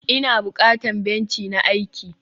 ina bukatan benci na aiki?